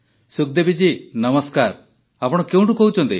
ସୁଖଦେବୀ ଜୀ ନମସ୍କାର ଆପଣ କେଉଁଠୁ କହୁଛନ୍ତି